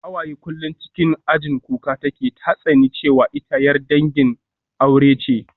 Hawaye kullum cikin ajin kuka take, ta tsani cewa ita 'yar gidan aure ce